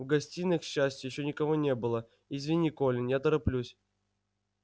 в гостиной к счастью ещё никого не было извини колин я тороплюсь